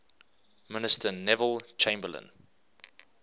minister neville chamberlain